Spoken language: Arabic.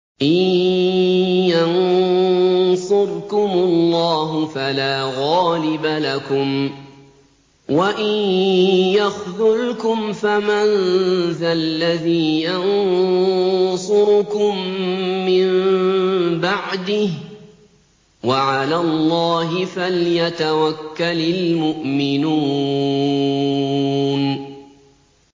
إِن يَنصُرْكُمُ اللَّهُ فَلَا غَالِبَ لَكُمْ ۖ وَإِن يَخْذُلْكُمْ فَمَن ذَا الَّذِي يَنصُرُكُم مِّن بَعْدِهِ ۗ وَعَلَى اللَّهِ فَلْيَتَوَكَّلِ الْمُؤْمِنُونَ